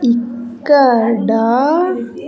ఇక్కడ.